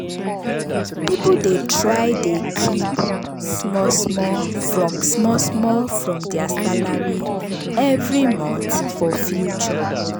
people dey try dey keep small small from small small from their salary every month for future.